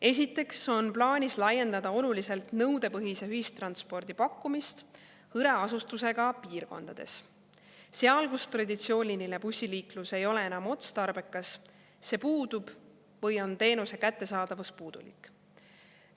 Esiteks on plaanis laiendada oluliselt nõudepõhise ühistranspordi pakkumist hõreasustusega piirkondades: seal, kus traditsiooniline bussiliiklus ei ole enam otstarbekas, see puudub või on teenuse kättesaadavus puudulik.